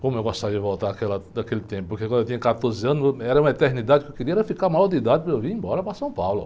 Como eu gostaria de voltar àquela, àquele tempo, porque quando eu tinha quatorze anos, era uma eternidade, porque o que eu queria, era ficar maior de idade para eu ir embora para São Paulo.